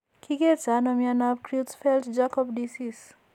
Ki kerto ano myentaap Creutzfeldt Jakob disease?